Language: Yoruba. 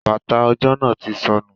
Bata ojo náa ti sọnu